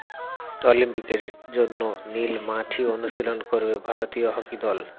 অলিম্পিকের জন্য নীল মাঠেই অনুশীলন করবে ভারতীয় হকি দল